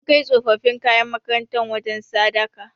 Mun kai tsofaffin kayan makarantar wajen sadaka.